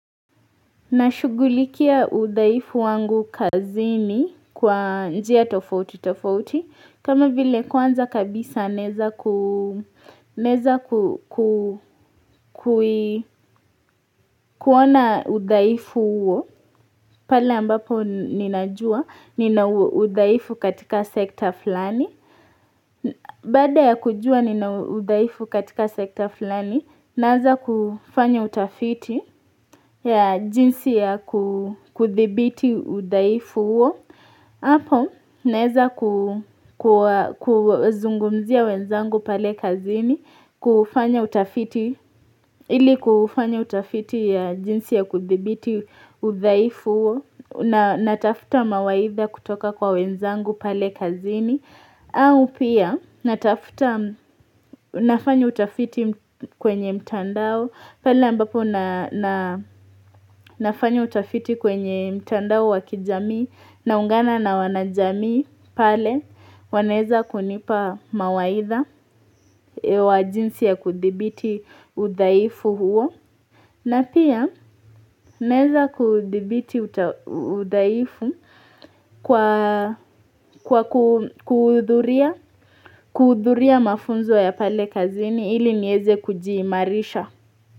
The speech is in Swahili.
Nashughulikia udhaifu wangu kazini kwa njia tofauti tofauti. Kama vile kwanza kabisa, ninaweza ku kuona udhaifu huo pale ambapo ninajua nina udhaifu katika sekta fulani. Baada ya kujua nina udhaifu katika sekta fulani, naweza kufanya utafiti wa jinsi ya kudhibiti udhaifu huo. Hapo naweza kuzungumzia wenzangu pale kazini, kufanya utafiti. Ili kufanya utafiti ya jinsi ya kudhibiti udhaifu hui natafuta mawaidha kutoka kwa wenzangu pale kazini au pia natafuta. Nafanya utafiti kwenye mtandao pale ambapo Nafanya utafiti kwenye mtandao wa kijamii, naungana na wanajamii pale wanaweza kunipa mawaidha. Kwa jinsi ya kudhibiti udhaifu huo.na pia naweza kudhibiti udhaifu kwa kuhudhuria mafunzo ya pale kazini ili niweze kujimarisha.